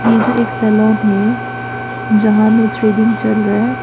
ये जो एक सैलोन है जहां में थ्रेडिंग चल रहा है।